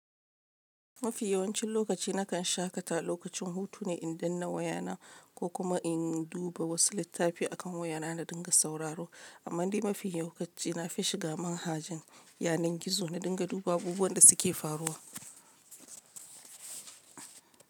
Mafi yawancin lokaci nakan shaƙata lokacin hutu ne in danna wayana ko kuma in duba wasu littafi a kan wayana na dinga sauraro, amma dai mafi lokaci nafi shiga manhajan yanar gizo na dinga duba abubuwan da suke faruwa.